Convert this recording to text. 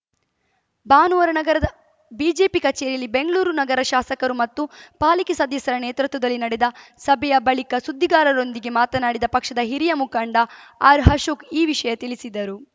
ಭಾನುವಾರ ನಗರದ ಬಿಜೆಪಿ ಕಚೇರಿಯಲ್ಲಿ ಬೆಂಗ್ಳೂರು ನಗರ ಶಾಸಕರು ಮತ್ತು ಪಾಲಿಕೆ ಸದಸ್ಯರ ನೇತೃತ್ವದಲ್ಲಿ ನಡೆದ ಸಭೆಯ ಬಳಿಕ ಸುದ್ದಿಗಾರರೊಂದಿಗೆ ಮಾತನಾಡಿದ ಪಕ್ಷದ ಹಿರಿಯ ಮುಖಂಡ ಆರ್‌ಅಶೋಕ್‌ ಈ ವಿಷಯ ತಿಳಿಸಿದರು